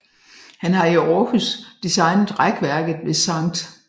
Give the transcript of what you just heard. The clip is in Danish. Han har i Århus designet rækværket ved Skt